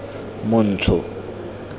montsho